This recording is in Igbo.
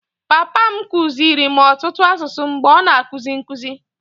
Papa m kụziiri ọtụtụ asụsụ mgbe ọ na-akuzi nkụzi.